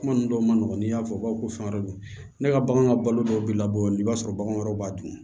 Kuma ninnu dɔw man nɔgɔn n'i y'a fɔ u b'a fɔ ko fɛn wɛrɛ don ne ka bagan ka balo dɔw bɛ labɔ i b'a sɔrɔ bagan wɛrɛw b'a dun